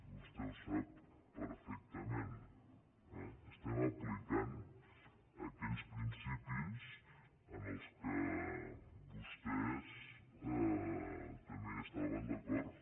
vostè ho sap perfectament eh estem aplicant aquells principis en què vostès també estaven d’acord